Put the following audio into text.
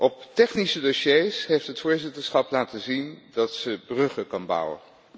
Op technische dossiers heeft het voorzitterschap laten zien dat ze bruggen kan bouwen.